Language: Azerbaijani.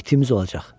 İtimiz olacaq.